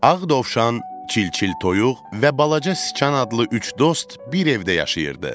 Ağ dovşan, çil-çil toyuq və balaca sıçan adlı üç dost bir evdə yaşayırdı.